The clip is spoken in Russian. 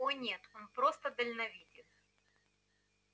о нет просто дальновиден